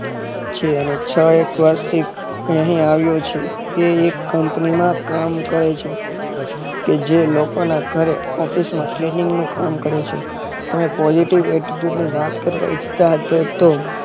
છે અને છ એક વર્ષથી અહીં આવ્યો છે તે એક company માં કામ કરે છે કે જે લોકોના ઘરે office માં cleaning નું કામ કરે છે તમે positive attitude ની વાત કરવા ઇચ્છતા હતો તો